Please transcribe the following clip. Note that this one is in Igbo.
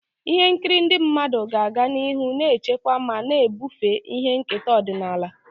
Ihe nkiri ndị mmadụ ga-aga n'ihu na-echekwa ma na-ebufe ihe nketa ọdịnala.